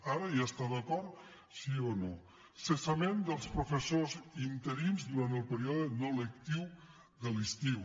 ara hi està d’acord sí o no cessament dels professors interins durant el període no lectiu de l’estiu